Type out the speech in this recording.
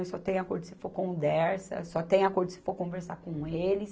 Só tem acordo se for com o Dersa, só tem acordo se for conversar com eles.